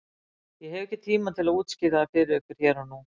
Ég hef ekki tíma til að útskýra það fyrir ykkur hér og nú.